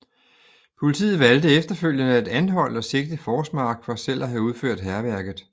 Politiet valgte efterfølgende at anholde og sigte Forsmark for selv at have udført hærværket